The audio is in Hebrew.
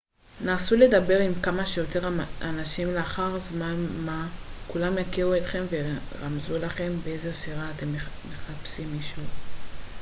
נסו לדבר עם כמה שיותר אנשים לאחר זמן מה כולם יכירו אתכם וירמזו לכם באיזו סירה מחפשים מישהו